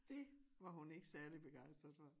Dét var hun ikke særligt begejstret for